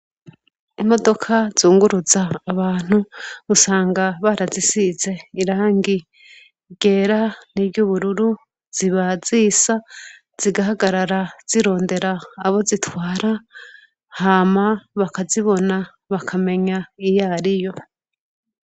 Imodoka zunguruza abantu usanga barazisize irangi ryera niry'ubururu ziba zisa zigahagarara zirondera abo zitwara hama bakazibona bakamenya iyo ari yo.